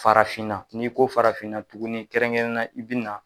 Farafinna n'i ko farafinna tuguni kɛrɛnkɛrɛnnen na i bi na